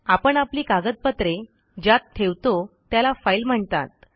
आपण आपली कागदपत्रे ज्यात ठेवतो त्याला फाईल म्हणतात